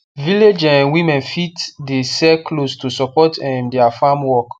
village um women fit the sell clothes to support um their farm work